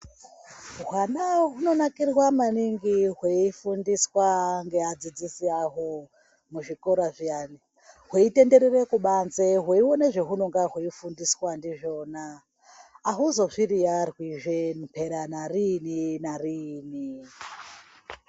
Hwana hunonakirwa maningi hweifundiswa ngeadzidzisi ahwo muzvikora zviyani hweitenderere kubanze hweione zvehunenge hweifundiswa ndizvona ahuzozviriyarwizve mpera nariini nariini.